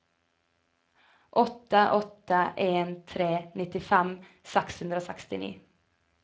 åtte åtte en tre nittifem seks hundre og sekstini